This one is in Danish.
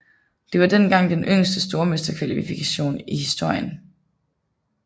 Det var dengang den yngste stormesterkvalifikation i historien